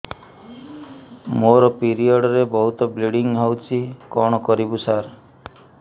ମୋର ପିରିଅଡ଼ ରେ ବହୁତ ବ୍ଲିଡ଼ିଙ୍ଗ ହଉଚି କଣ କରିବୁ ସାର